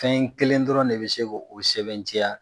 Fɛn kelen dɔrɔn de bɛ se k'o sɛbɛntiya.